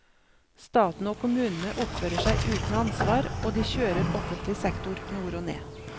Staten og kommunene oppfører seg uten ansvar, og de kjører offentlig sektor nord og ned.